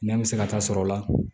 Nɛ bɛ se ka taa sɔrɔla la